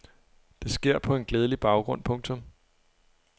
Det sker på en glædelig baggrund. punktum